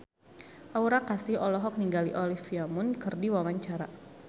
Aura Kasih olohok ningali Olivia Munn keur diwawancara